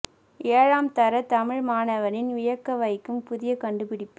ஏழாம் தர தமிழ் மாணவனின் வியக்க வைக்கும் புதிய கண்டுபிடிப்பு